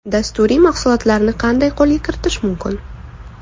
Dasturiy mahsulotlarni qanday qo‘lga kiritish mumkin?